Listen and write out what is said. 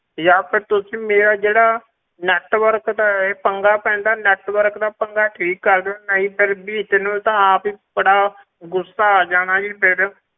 ਜਾਂ ਫਿਰ ਤੁਸੀਂ ਮੇਰਾ ਜਿਹੜਾ network ਦਾ ਇਹ ਪੰਗਾ ਪੈਂਦਾ ਹੈ network ਦਾ ਪੰਗਾ ਠੀਕ ਕਰ ਦਿਓ ਨਹੀਂ ਤਾਂ ਬੀਬੀ ਤੈਨੂੰ ਤਾਂ ਆਪ ਹੀ ਬੜਾ ਗੁੱਸਾ ਆ ਜਾਣਾ ਜੀ ਫਿਰ।